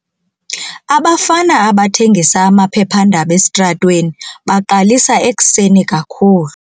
Abafana abathengisa amaphephandaba esitratweni baqalisa ekuseni kakhulu.